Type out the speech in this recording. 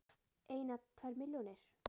Eina, tvær milljónir?